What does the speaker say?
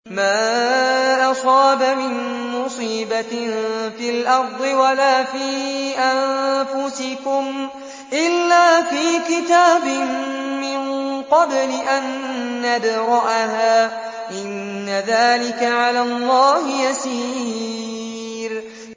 مَا أَصَابَ مِن مُّصِيبَةٍ فِي الْأَرْضِ وَلَا فِي أَنفُسِكُمْ إِلَّا فِي كِتَابٍ مِّن قَبْلِ أَن نَّبْرَأَهَا ۚ إِنَّ ذَٰلِكَ عَلَى اللَّهِ يَسِيرٌ